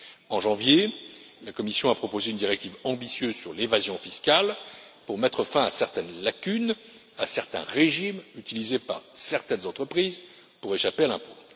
En janvier, la Commission a proposé une directive ambitieuse sur l'évasion fiscale pour mettre fin à certaines lacunes, à certains régimes utilisés par certaines entreprises pour échapper à l'impôt.